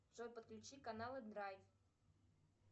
джой подключи каналы драйв